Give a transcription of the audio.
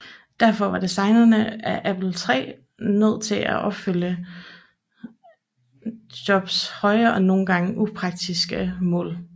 Derfor var designerne af Apple III nødt til at opfylde Jobs høje og nogle gange upraktiske mål